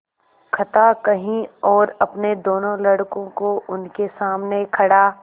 कथा कही और अपने दोनों लड़कों को उनके सामने खड़ा